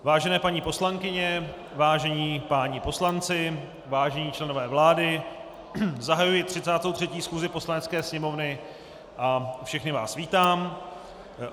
Vážené paní poslankyně, vážení páni poslanci, vážení členové vlády, zahajuji 33. schůzi Poslanecké sněmovny a všechny vás vítám.